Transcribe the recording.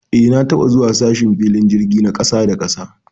Eh, na taba zuwa sashen filin jirgi na kasa da kasa.